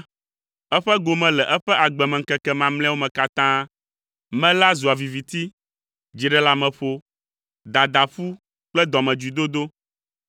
Eƒe gome le eƒe agbemeŋkeke mamlɛawo katã me la zua viviti, dziɖeleameƒo, dadaƒu kple dɔmedzoedodo.